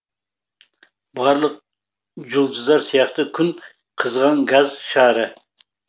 барлық жұлдыздар сияқты күн қызған газ шары